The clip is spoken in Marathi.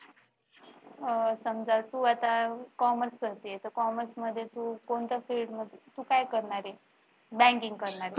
समजा तू आता commerce करतेस तर commerce मध्ये तू कोणतं field तू काय करणारे banking करणारे